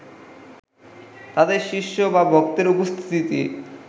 তাতে শিষ্য বা ভক্তের উপস্থিতি